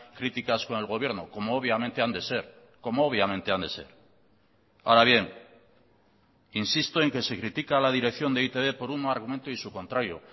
críticas con el gobierno como obviamente han de ser como obviamente han de ser ahora bien insisto en que se critica a la dirección de e i te be por un argumento y su contrario